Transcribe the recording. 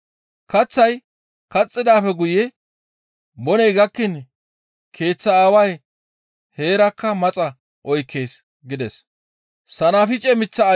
Kaththay kaxxidaappe guye boney gakkiin keeththa aaway heerakka maxa oykkees» gides.